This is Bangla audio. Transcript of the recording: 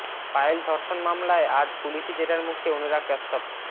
পায়েল ধর্ষণ মামলায় আজ পুলিশি জেরার মুখে অনুরাগ কাশ্যপ